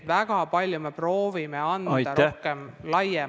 Jah, kuidas ma ütlen, kõigil on laenud maksta ja kõigil on ettevõtluses praegu keerulised ajad.